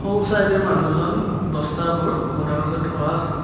সোঁ চাইডে মানুহজন বস্তাবোৰ গুদাওনলৈ থোৱা আছে।